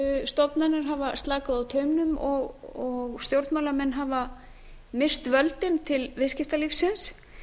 eftirlitsstofnanir hafa slakað á taumnum og stjórnmálamenn hafa misst völdin til viðskiptalífsins